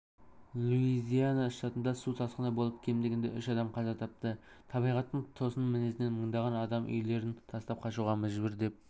луизиана штатында су тасқыны болып кем дегенде үш адам қаза тапты табиғаттың тосын мінезінен мыңдаған адам үйлерін тастап қашуға мәжбүр деп